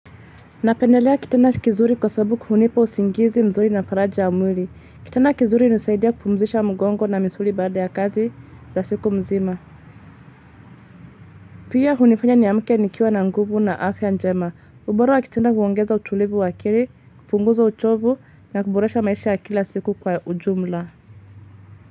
Napendelea kitanda kizuri kwa sababu hunipa usingizi mzuri na faraja ya mwili. Kitana kizuri hunisaidia kupumzisha mgongo na misuli baada ya kazi za siku mzima. Pia hunifanya niamke nikiwa na nguvu na afya njema. Ubora wa kitanda huongeza utulivu wa akili, kupunguza uchovu na kuboresha maisha ya kila siku kwa ujumla.